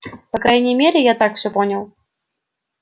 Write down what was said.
по крайней мере я так всё понял